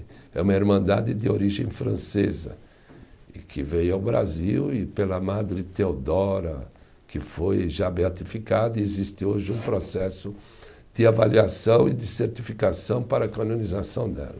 É uma Irmandade de origem francesa, e que veio ao Brasil e pela Madre Teodora, que foi já beatificada, e existe hoje um processo de avaliação e de certificação para a canonização dela.